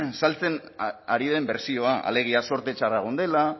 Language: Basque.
saltzen ari den bertsioa alegia zorte txarra egon dela